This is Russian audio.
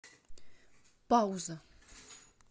пауза